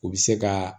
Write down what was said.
U bɛ se ka